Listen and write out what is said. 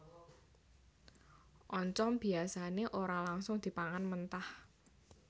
Oncom biasané ora langsung dipangan mentah